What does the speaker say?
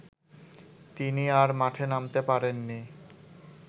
তিনি আর মাঠে নামতে পারেননি